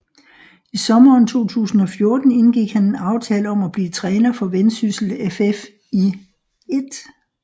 I sommeren 2014 indgik han en aftale om at blive træner for Vendsyssel FF i 1